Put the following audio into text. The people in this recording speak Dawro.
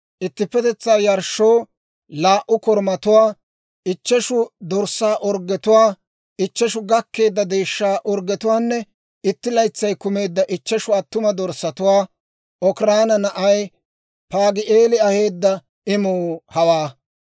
ittippetetsaa yarshshoo laa"u korumatuwaa, ichcheshu dorssaa orggetuwaa, ichcheshu gakkeedda deeshshaa orggetuwaanne itti laytsay kumeedda ichcheshu attuma dorssatuwaa. Okiraana na'ay Paagi'eeli aheedda imuu hawaa.